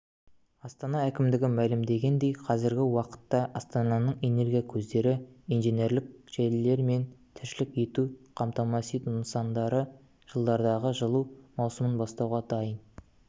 астана әкімдігі мәлімдегендей қазіргі уақытта астананың энергия көздері инженерлік желілері мен тіршілік етуді қамтамасыз ету нысандары жылдардағы жылу маусымын бастауға дайын